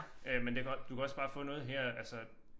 Øh men det kan også du kan også bare få noget her altså